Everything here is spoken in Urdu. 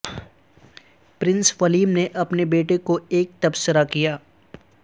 پرنس ولیم نے اپنے بیٹے کو ایک تبصرہ کیا